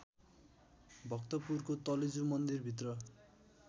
भक्तपुरको तलेजु मन्दिरभित्र